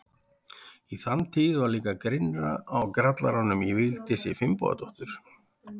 Í þann tíð var líka grynnra á grallaranum í Vigdísi Finnbogadóttur.